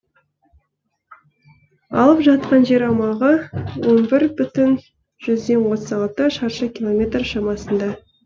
алып жатқан жер аумағы он бір бүтін жүзден отыз алты шаршы километр шамасында